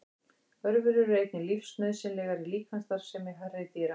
Örverur eru einnig lífsnauðsynlegar í líkamsstarfsemi hærri dýra.